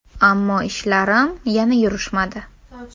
Ammo ishlarim yana yurishmadi.